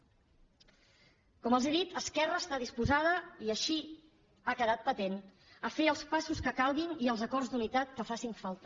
com els he dit esquerra està disposada i així ha quedat patent a fer els passos que calguin i els acords d’unitat que facin falta